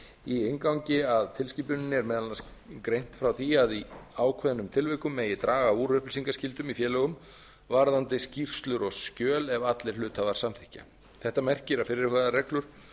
í inngangi að tilskipuninni er meðal annars greint frá því að í ákveðnum tilvikum megi draga úr upplýsingaskyldum í félögum varðandi skýrslur og skjöl ef allir hluthafar samþykkja þetta merkir að fyrirhugaðar reglur